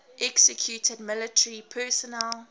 executed military personnel